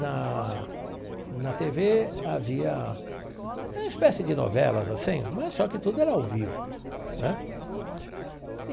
Na na tê vê havia uma espécie de novelas assim, mas só que tudo era ao vivo né.